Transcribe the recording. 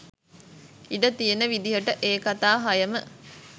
ඉඩ තියෙන විදිහට ඒ කතා හයම